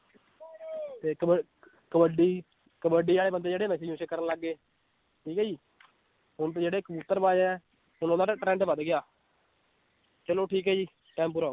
ਤੇ ਕਬੱ~ ਕਬੱਡੀ ਕਬੱਡੀ ਵਾਲੇ ਬੰਦੇ ਜਿਹੜੇ ਨਸ਼ੇ ਨੁਸ਼ੇ ਕਰਨ ਲੱਗ ਗਏ, ਠੀਕ ਹੈ ਜੀ ਹੁਣ ਤਾਂ ਜਿਹੜੇ ਕਬੂਤਰ ਬਾਜ਼ ਹੈ ਹੁਣ ਉਹਨਾਂ ਦਾ trend ਵੱਧ ਗਿਆ ਚਲੋ ਠੀਕ ਹੈ ਜੀ time ਪੂਰਾ